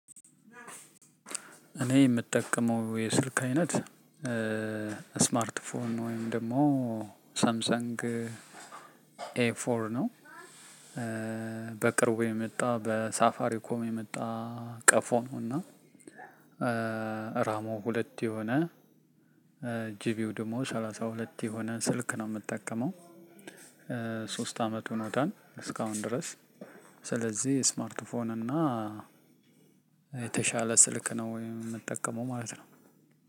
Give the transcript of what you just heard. እኔ የምጠቀመው የስልክ አይነት ስማርት ፎን ወይም ደግሞ ሳምሰንግ ኤ ፎር ነው በቅርቡ የመጣ በሳፋሪ ኮም የመጣ ቀፎ ነው። እና ራሙ ሁለት የሆነ ጂቢው ደግሞ ሰላሳ ሁለት የሆነ ስልክ ነው የምጠቀመው። ሶስት አመት ሆኖታል እስካሁን ድረስ። ስለዚህ ስማርት ፎን እና የተሻለ ስልክ ነው የምጠቀመው ማለት ነው።